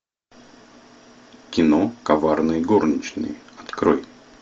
кино коварные горничные открой